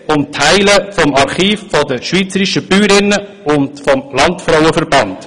Dabei geht es um Teile des Archivs der schweizerischen Bäuerinnen und des Landfrauenverbands.